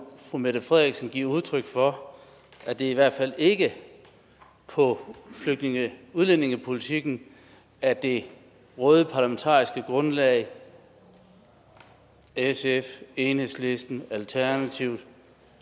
fru mette frederiksen give udtryk for at det i hvert fald ikke er på flygtninge og udlændingepolitikken at det røde parlamentariske grundlag sf enhedslisten alternativet